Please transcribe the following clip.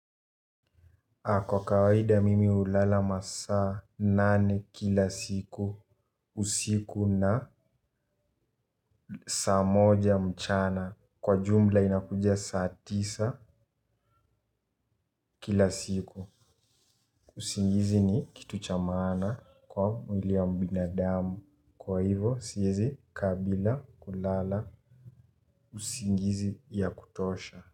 Na kwa kawaida mimi hulala masaa nane kila siku. Usiku na saa moja mchana kwa jumla inakuja saa tisa kila siku usingizi ni kitu cha maana kwa mwili ya binadamu kwa hivyo siwezi kaa bila kulala usingizi ya kutosha.